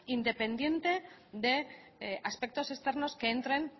independiente de aspectos externos que entren